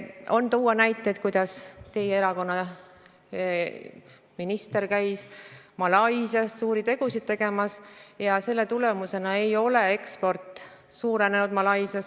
On tuua näiteid, kuidas teie erakonna minister käis Malaisias suuri tegusid tegemas, aga selle tulemusena ei ole eksport Malaisiasse suurenenud.